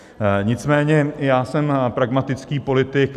Nicméně já jsem pragmatický politik.